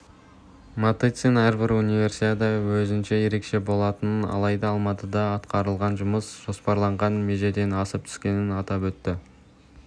матыцин әрбір универсиада өзінше ерекше болатынын алайда алматыда атқарылған жұмыс жоспарланған межеден асып түскенін атап өтті